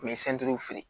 U ye feere